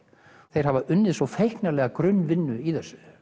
þeir hafa unnið svo grunnvinnu í þessu